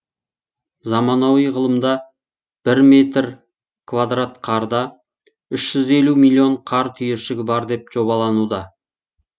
заманауи ғылымда бір метр квадрат қарда үш жүз елу миллион қар түйіршігі бар деп жобалануда